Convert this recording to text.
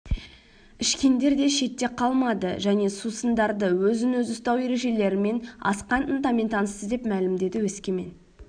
ішкендер де шетте қалмады және суайдындарды өзін-өзі ұстау ережелерімен асқан ынтамен танысты деп мәлімдеді өскемен